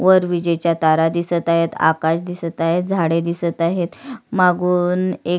वर विजेच्या तारा दिसत आहे आकाश दिसत आहे झाड़े दिसत आहे मागून एक.